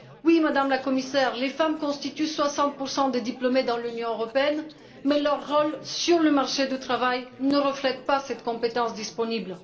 Oui, Madame la Commissaire, les femmes constituent 60 des diplômés dans l'Union européenne, mais leur rôle sur le marché du travail ne reflète pas cette compétence disponible.